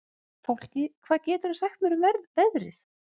Fálki, hvað geturðu sagt mér um veðrið?